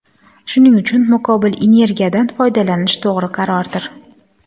Shuning uchun muqobil energiyadan foydalanish to‘g‘ri qarordir.